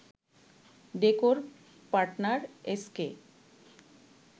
decor partner SK